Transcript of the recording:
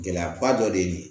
Gɛlɛyaba dɔ de ye nin ye